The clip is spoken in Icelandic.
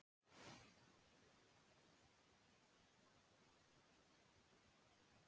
Í einum sólarhring eru þess vegna átta eyktir, hver um sig þrjár klukkustundir á lengd.